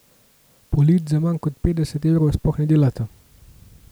Polic za manj kot petdeset evrov sploh ne delata!